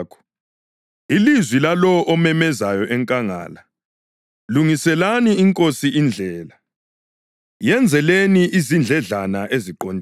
“ilizwi lalowo omemezayo enkangala, ‘Lungiselani iNkosi indlela, yenzeleni izindledlana eziqondileyo.’ + 1.3 U-Isaya 40.3”